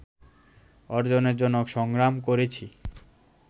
অর্জনের জন্য সংগ্রাম করেছি